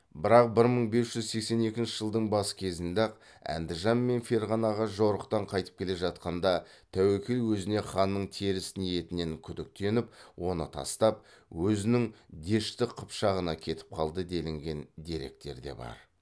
бірақ бір мың бес жүз сексен екінші жылдың бас кезінде ақ әндіжан мен ферғанаға жорықтан қайтып келе жатқанда тәуекел өзіне ханның теріс ниетінен күдіктеніп оны тастап өзінің дешті қыпшағына кетіп қалды делінген деректерде бар